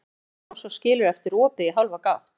Tekur úr lás og skilur eftir opið í hálfa gátt.